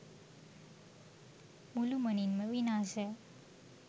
මුළුමනින්ම විනාශ